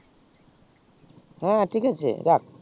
হ্যাঁ ঠিক আছে রাখ